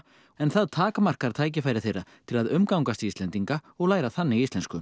en það takmarkar tækifæri þeirra til að umgangast Íslendinga og læra þannig íslensku